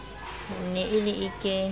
ne e le e ke